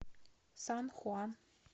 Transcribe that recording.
сан хуан